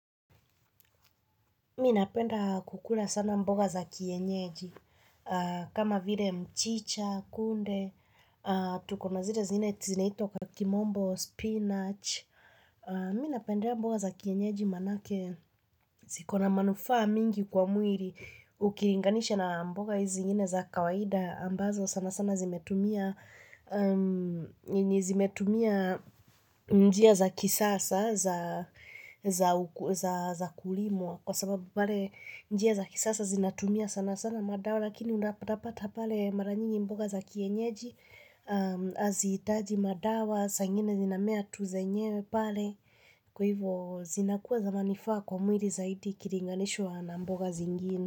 Mimi napenda kukula sana mboga za kienyeji, kama vile mchicha, kunde, tukonazile zingine zinaitwa kakimombo, spinach. Miminapenda mboga za kienyeji maana yake, zikona manufaa mingi kwa mwili, ukilinganisha na mboga hizi zingine za kawaida, ambazo sana sana zimetumia zimetumia njia za kisasa za kulimwa. Kwa sababu pale njia za kisasa zinatumia sana sana madawa. Lakini unapata pata pale mara nyingi mboga za kienyeji hazihitaji madawa, saa ingine zinamea tu zenyewe pale. Kwa hivyo zinakuwa za manufaa kwa mwili zaidi ikilinganishwa na mboga zingine.